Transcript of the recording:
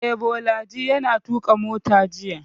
Eh, Bolaji ya tuƙa mota jiya